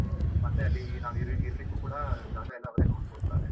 ಮತ್ತೆ ಅಲ್ಲಿ ಹ ನಾವ್ ಇರಲಿಕ್ಕೂ ಕೂಡ ಜಾಗ ಎಲ್ಲ ಅವರೇ ನೋಡ್ಕೊಳ್ತಾರೆ.